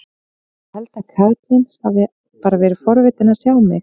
Ég held að karlinn hafi bara verið forvitinn að sjá mig.